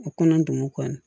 U kɔnɔ don kɔ la